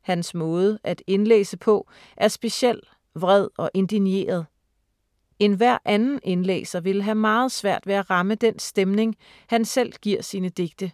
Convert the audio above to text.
Hans måde at indlæse på er speciel, vred og indigneret. Enhver anden indlæser ville have meget svært ved at ramme den stemning, han selv giver sine digte.